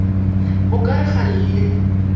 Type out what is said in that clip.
o ka re ga le